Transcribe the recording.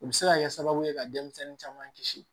O bɛ se ka kɛ sababu ye ka denmisɛnnin caman kisi